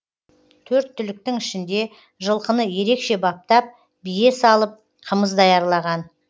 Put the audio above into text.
төрт түліктің ішінде жылқыны ерекше баптап бие салып қымыз даярлаған